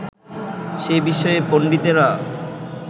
সে বিষয়ে পণ্ডিতেরা